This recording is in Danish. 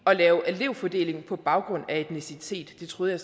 lave elevfordeling på baggrund af etnicitet jeg troede